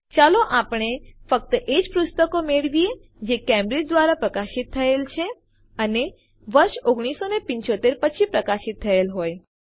ચાલો આપણે ફક્ત એજ પુસ્તકો મેળવીએ જે કેમ્બ્રિજ દ્વારા પ્રકાશિત થયેલ છે અને વર્ષ ૧૯૭૫ પછી પ્રકાશિત થયેલ હોય